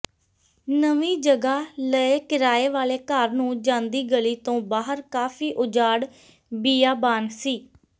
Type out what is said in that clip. ਨਵੀ ਜਗਾ ਲਏ ਕਿਰਾਏ ਵਾਲੇ ਘਰ ਨੂੰ ਜਾਂਦੀ ਗਲੀ ਤੋਂ ਬਾਹਰ ਕਾਫੀ ਉਜਾੜ ਬੀਆਬਾਨ ਸੀ